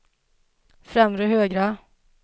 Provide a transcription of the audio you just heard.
främre högra